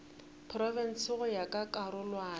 profense go ya ka karolwana